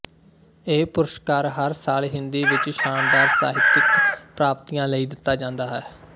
ਇਹ ਪੁਰਸਕਾਰ ਹਰ ਸਾਲ ਹਿੰਦੀ ਵਿੱਚ ਸ਼ਾਨਦਾਰ ਸਾਹਿਤਕ ਪ੍ਰਾਪਤੀਆਂ ਲਈ ਦਿੱਤਾ ਜਾਂਦਾ ਹੈ